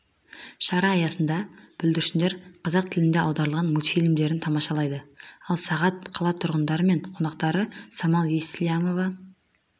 шара аясында бүлдіршіндер қазақ тіліне аударылған мультфильмдерін тамашалайды ал сағат қала тұрғындары мен қонақтары самал еслямова